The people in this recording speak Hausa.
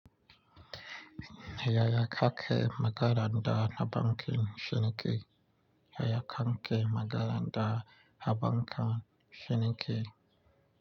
Ya ya kakke magana da habarƙan shine ke. Yaya kake magana da habanka shininke.